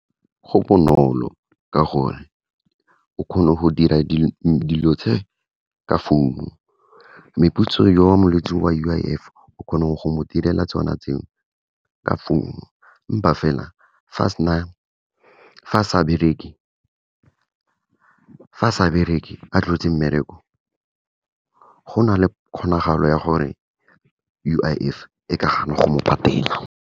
Go bonolo, ka gore o kgone go dira dilo tse ka founu, meputso yo molwetse wa U_I_F, o kgona go mo direla tsona tseo, ka founu empa fela fa sa bereke, a tlogetse mmereko, go na le kgonagalo ya gore U_I_F, e ka gana go mo patela.